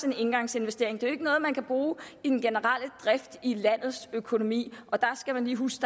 en engangsinvestering det er jo ikke noget man kan bruge i den generelle drift i landets økonomi og der skal man lige huske